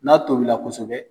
N'a tobila kosɛbɛ